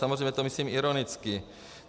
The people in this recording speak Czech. Samozřejmě to myslím ironicky.